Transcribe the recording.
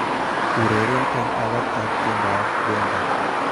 Ureren eng alak ab tiendoab Benga